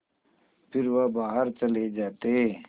फिर वह बाहर चले जाते